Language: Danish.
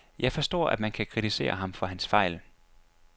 Jeg forstår, at man kan kritisere ham for hans fejl.